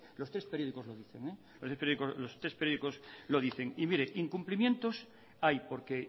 los tres periódicos lo dicen los tres periódicos lo dicen y mire incumplimientos hay porque